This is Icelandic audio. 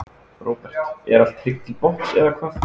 Róbert: Er allt tryggt til botns eða hvað?